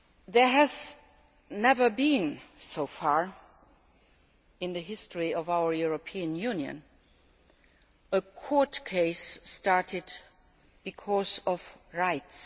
There has never been, so far, in the history of our European Union, a court case started because of rights.